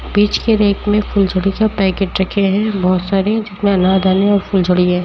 बीच के रैक में फूलझड़ी के पैकेट रखे हैं बहोत सारे जिसमें अनार दाने और फूलझड़ी है।